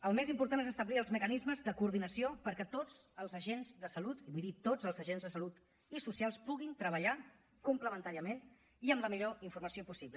el més important és establir els mecanismes de coordinació perquè tots els agents de salut i vull dir tots els agents de salut i socials puguin treballar complementàriament i amb la millor informació possible